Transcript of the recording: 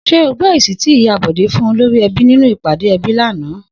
S̩é o gbó̩ èsì tí Ìyá Bò̩dé fún olórí e̩bí nínú ìp̩àdé e̩bí lánàá?